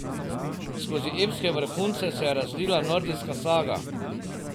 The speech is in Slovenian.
Skozi epske vrhunce se je razlila nordijska saga.